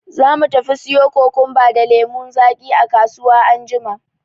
Za mu tafi siyo kokumba da lemun zaki a kasuwa anjima.